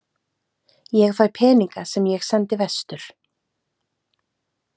Ég fæ peninga sem ég sendi vestur.